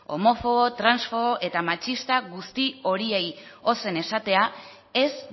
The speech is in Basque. homofobo transfobo eta matxista guzti horiei ozen esatea ez